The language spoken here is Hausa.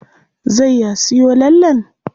Zai ya siyo lallen?